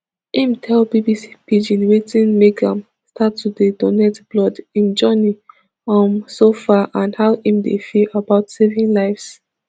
im tell bbc pidgin wetin make am start to dey donate blood im journey um so far and how im dey feel about about saving lives